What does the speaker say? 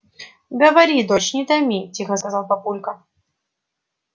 говори дочь не томи тихо сказал папулька